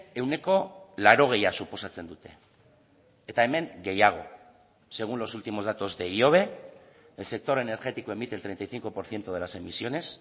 ehuneko laurogeia suposatzen dute eta hemen gehiago según los últimos datos de ihobe el sector energético emite el treinta y cinco por ciento de las emisiones